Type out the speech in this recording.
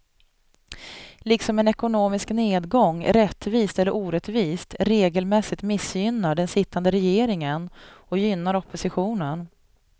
Liksom en ekonomisk nedgång, rättvist eller orättvist, regelmässigt missgynnar den sittande regeringen och gynnar oppositionen.